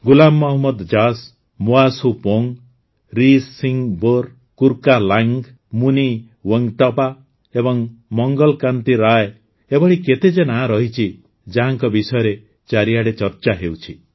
ଗୁଲାମ ମହମ୍ମଦ ଜାସ୍ ମୋଆ ସୁପୋଙ୍ଗ୍ ରିସିଂବୋର୍ କୁର୍କାଲାଙ୍ଗ୍ ମୁନି ୱେଙ୍କଟପ୍ପା ଏବଂ ମଙ୍ଗଲ୍ କାନ୍ତି ରାୟ ଏଭଳି କେତେ ଯେ ନାଁ ରହିଛି ଯାହାଙ୍କ ବିଷୟରେ ଚାରିଆଡ଼େ ଚର୍ଚ୍ଚା ହେଉଛି